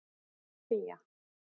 Fía